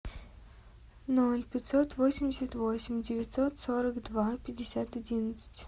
ноль пятьсот восемьдесят восемь девятьсот сорок два пятьдесят одиннадцать